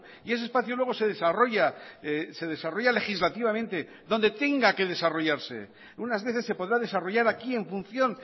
y ese espacio luego se desarrolla se desarrolla legislativamente donde tenga que desarrollarse unas veces se podrá desarrollar aquí en función